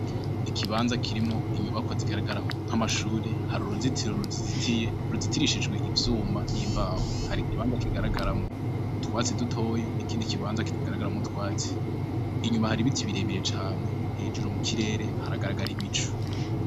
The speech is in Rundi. Ikibanza kirimwo inyubako zigaragara nk'amashure, hari uruzitiro ruzizitiye, ruzitirishijwe ivyuma n'imbaho, hari ikibanza kigaragaramwo utwatsi dutoya, n'ikindi kibanza kitagaragaramwo utwatsi ,inyuma hari ibiti birebire cane ,hejuru mu kirere haragaragara ibicu.